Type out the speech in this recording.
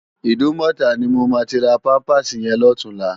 Idúmòtá ni mó má ti rá pàmpásí yèn lòtúnlá